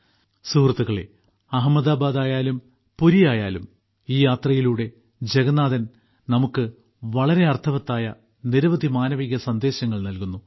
സുഹൃത്തുക്കളേ അഹമ്മദാബാദായാലും പുരിയായാലും ഈ യാത്രയിലൂടെ ജഗന്നാഥൻ നമുക്ക് വളരെ അർത്ഥവത്തായ നിരവധി മാനവിക സന്ദേശങ്ങൾ നൽകുന്നു